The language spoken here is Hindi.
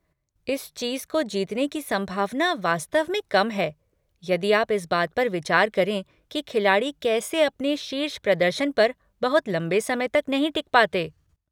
इस चीज़ को जीतने की संभावना वास्तव में कम है यदि आप इस बात पर विचार करें कि खिलाड़ी कैसे अपने शीर्ष प्रदर्शन पर बहुत लंबे समय तक नहीं टिक पाते।